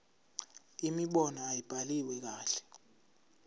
imibono ayibhaliwe kahle